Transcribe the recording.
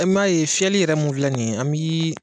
m'a ye fiyɛli yɛrɛ mun filɛ nin ye an bi.